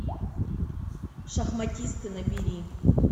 шахматисты набери